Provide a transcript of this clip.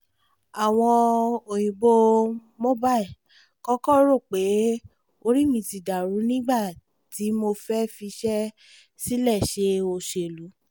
àwọn òyìnbó mobile kọ́kọ́ rò pé orí mi ti dàrú ni nígbà tí mo fẹ́ fiṣẹ́ sílẹ̀ ṣe òṣèlú